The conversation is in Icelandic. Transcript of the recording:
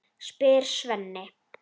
spyr Svenni.